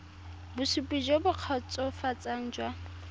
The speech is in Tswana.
bosupi jo bo kgotsofatsang jwa